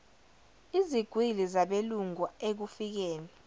izigwili zabelungu ekufikeni